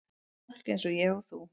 Fólk eins og ég og þú.